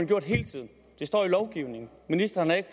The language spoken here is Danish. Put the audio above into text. gjort hele tiden det står i lovgivningen ministeren har ikke